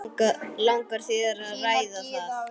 Langar þér að ræða það?